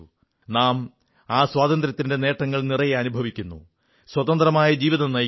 നാം ആ സ്വതന്ത്ര്യത്തിന്റെ നേട്ടങ്ങൾ നിറയെ അനുഭവിക്കുന്നു സ്വതന്ത്രമായ ജീവിതം നയിക്കുന്നു